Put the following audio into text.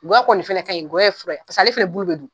Gɔyɔ kɔni nin fɛnɛ kaɲi gɔyɔ ye fura paseke k'ale fɛnɛ bulu bɛ dun.